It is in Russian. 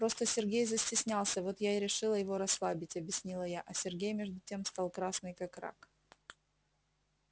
просто сергей застеснялся вот я и решила его расслабить объяснила я а сергей между тем стал красный как рак